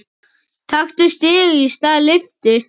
Taktu stiga í stað lyftu.